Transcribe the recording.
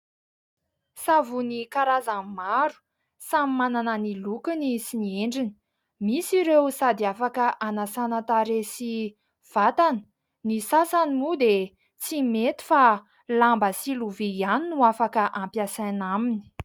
Savony karazany maro, samy manana ny lokony sy ny endriny. Misy ireo sady afaka anasana tarehy sy vatana, ny sasany moa dia tsy mety fa lamba sy lovia ihany no afaka ampiasaina aminy.